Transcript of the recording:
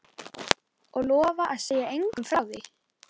Og lofa að segja engum frá því?